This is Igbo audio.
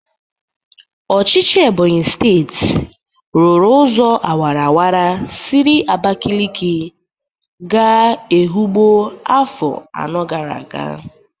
Ọchịchị Ebonyi steti rụrụ ụzọ awaraawara siri Abakaliki ga Ehụgbọ afọ anọ gara aga.